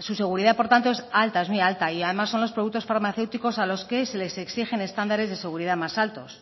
su seguridad por tanto es alta es muy alta y además son los productos farmacéuticos a los que se les exigen estándares de seguridad más altos